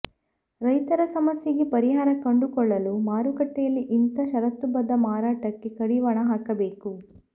ರೈತರ ಸಮಸ್ಯೆಗೆ ಪರಿಹಾರ ಕಂಡುಕೊಳ್ಳಲು ಮಾರುಕಟ್ಟೆಯಲ್ಲಿ ಇಂಥ ಷರತ್ತುಬದ್ಧ ಮಾರಾಟಕ್ಕೆ ಕಡಿವಾಣ ಹಾಕಬೇಕು